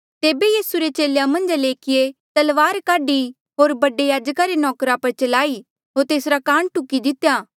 तेबे यीसू रे चेलेया मन्झा ले एकिये तलवार काढी होर बडे याजका रे नौकरा पर चलाई होर तेसरा कान टुकी दितेया